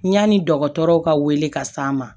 Yanni dɔgɔtɔrɔw ka wele ka s'a ma